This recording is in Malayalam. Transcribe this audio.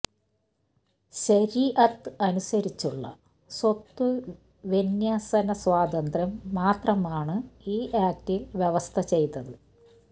ശരീഅത്ത് അനുസരിച്ചുള്ള സ്വത്തുവിന്യസന സ്വാതന്ത്ര്യം മാത്രമാണ് ഈ ആക്ടില് വ്യവസ്ഥ ചെയ്തത്